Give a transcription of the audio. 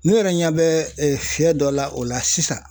Ne yɛrɛ ɲɛ bɛ fiyɛ dɔ la o la sisan.